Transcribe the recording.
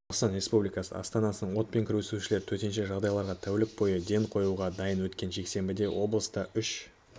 қазақстан республикасы астанасының отпен күресушілері төтенше жағдайларға тәулік бойы ден қоюға дайын өткен жексенбіде облыста үш